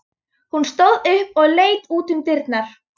Hún stóð upp og leit út um dyrnar.